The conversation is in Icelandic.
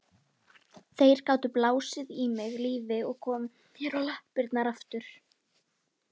Þeir gátu blásið í mig lífi og komið mér á lappirnar aftur.